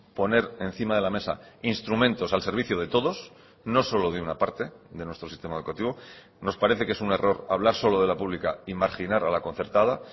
poner encima de la mesa instrumentos al servicio de todos no solo de una parte de nuestro sistema educativo nos parece que es un error hablar solo de la pública y marginar a la concertada